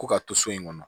Ko ka to so in kɔnɔ